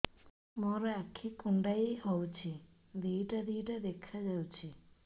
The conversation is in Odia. ମୋର ଆଖି କୁଣ୍ଡାଇ ହଉଛି ଦିଇଟା ଦିଇଟା ଦେଖା ଯାଉଛି